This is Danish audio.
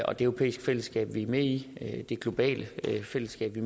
og det europæiske fællesskab vi er med i det globale fællesskab vi